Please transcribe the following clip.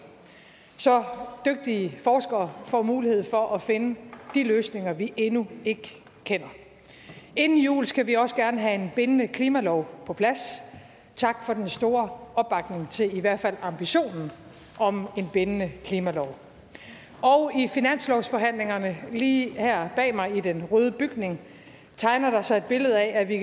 så dygtige forskere får mulighed for at finde de løsninger vi endnu ikke kender inden jul skal vi også gerne have en bindende klimalov på plads tak for den store opbakning til i hvert fald ambitionen om en bindende klimalov i finanslovsforhandlingerne lige her bag mig i den røde bygning tegner der sig et billede af at vi i